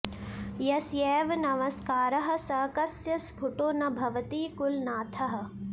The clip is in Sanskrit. यस्यैव नमस्कारः स कस्य स्फुटो न भवति कुलनाथः